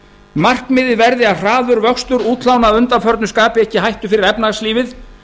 markmiðið verði að hraður vöxtur útlána að undanförnu skapi ekki hættu fyrir efnahagslífið